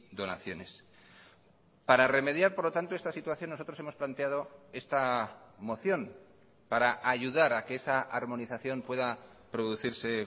donaciones para remediar por lo tanto esta situación nosotros hemos planteado esta moción para ayudar a que esa armonización pueda producirse